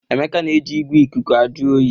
Emeka na-eji igwe ikuku ajụ oyi